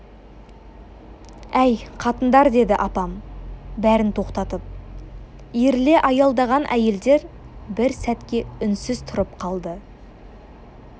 әй қатындар деді апам бәрін тоқтатып иіріле аялдаған әйелдер бір сәтке үнсіз тұрып қалды